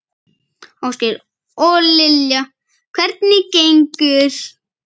Ásgeir: Og Lilja, hvernig gengur?